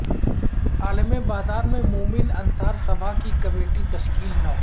عالم بازار میں مومن انصار سبھا کی کمیٹی تشکیل نو